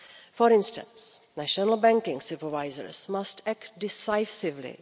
For instance, national banking supervisors must act decisively.